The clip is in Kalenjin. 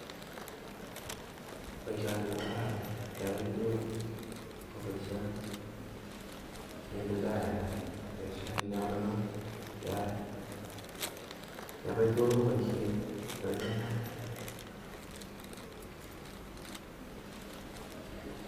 Boishoni kokaraa ran kebai tugaa koboishet neititaat. Boishet nenyolunot, kebai tugaa koboishet neiyaanaat